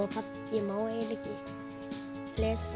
ég má eiginlega ekki lesa